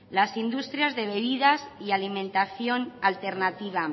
las industrias de bebidas y alimentación alternativa